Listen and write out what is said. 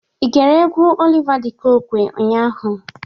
I gere egwu Oliva dị Kokwe ụnyaahụ?